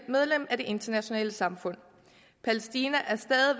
medlem af det internationale samfund palæstina